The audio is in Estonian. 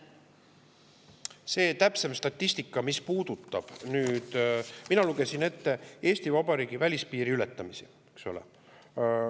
Mis puudutab täpsemat statistikat, siis mina lugesin ette Eesti Vabariigi välispiiri ületamised, eks ole.